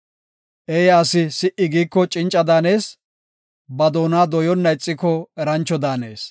Eeya asi si77i giiko cinca daanees; ba doona dooyonna ixiko erancho daanees.